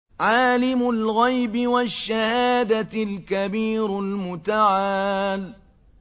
عَالِمُ الْغَيْبِ وَالشَّهَادَةِ الْكَبِيرُ الْمُتَعَالِ